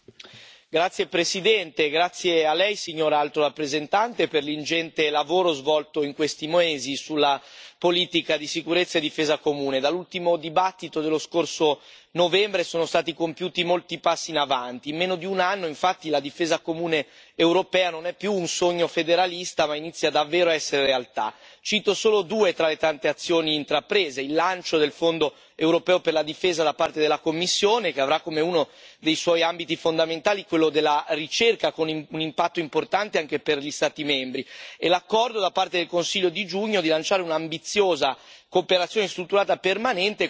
Signora Presidente, onorevoli colleghi, vorrei innanzitutto ringraziare l'Alto rappresentante per l'ingente lavoro svolto in questi mesi sulla politica di sicurezza e difesa comune. Dall'ultimo dibattito dello scorso novembre sono stati compiuti molti passi in avanti. In meno di un anno, infatti, la difesa comune europea non è più un sogno federalista, ma inizia davvero a essere realtà. Cito solo due tra le tante azioni intraprese il lancio del fondo europeo per la difesa da parte della Commissione, che avrà come uno dei suoi ambiti fondamentali quello della ricerca, con un impatto importante anche per gli Stati membri, e l'accordo, da parte del Consiglio di giugno, di lanciare un'ambiziosa